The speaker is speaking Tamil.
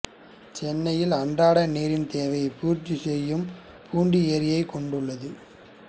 சென்னையின் அன்றாட நீரின் தேவைகளை பூர்த்தி செய்யும் பூண்டிஏரியை கொண்டுள்ளது